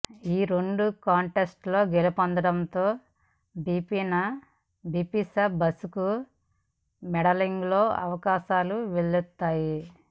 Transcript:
ఈ రెండు కాంటెస్టులో గెలుపొందడంతో బిపాసా బసుకు మోడలింగులో అవకాశాలు వెల్లువెత్తాయి